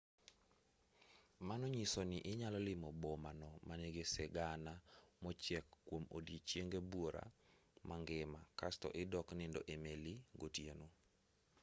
mano nyiso ni inyalo limo boma no manigi sigana mochiek kuom ondiechenge buora mangima kasto idok nindo e meli gotieno